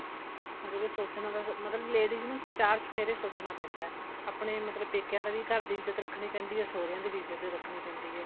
ਮਤਲਬ ਕੀ ਸੋਚਣਾ ਤਾਂ ਮਤਲਬ ladies ਨੂੰ ਚਾਰ ਚੇਫੇਰੇ ਸੋਚਣਾ ਪੈਂਦਾ ਆਪਣੇ ਮਤਲਬ ਪੇਕਿਆ ਦਾ ਵੀ ਘਰ ਦੀ ਇਜਤ ਰੱਖਣੀ ਪੈਂਦੀ ਏ ਸੋਹਰਿਆ ਦੀ ਵੀ ਇੱਜਤ ਰੱਖਣੀ ਪੈਂਦੀ ਏ